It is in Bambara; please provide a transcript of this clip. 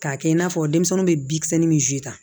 K'a kɛ i n'a fɔ denmisɛnninw bɛ bin kisɛ min zi ta